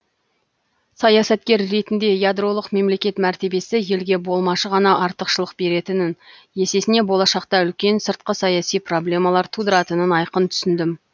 саясаткер ретінде ядролық мемлекет мәртебесі елге болмашы ғана артықшылық беретінін есесіне болашақта үлкен сыртқы саяси проблемалар тудыратынын айқын түсіндім